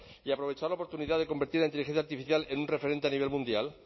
y aprovechar la oportunidad de convertir en inteligencia artificial en un referente a nivel mundial